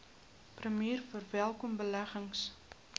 premier verwelkom beleggings